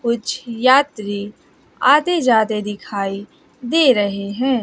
कुछ यात्री आते जाते दिखाई दे रहे हैं।